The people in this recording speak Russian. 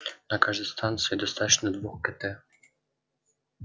на каждой станции достаточно двух кт